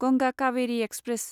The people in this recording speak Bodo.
गंगा कावेरि एक्सप्रेस